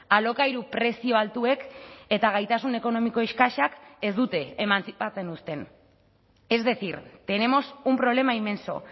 alokairu prezio altuek eta gaitasun ekonomiko eskasak ez dute emantzipatzen uzten es decir tenemos un problema inmenso